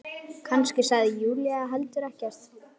Kannski sagði Júlía heldur ekkert.